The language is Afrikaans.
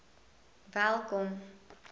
welkom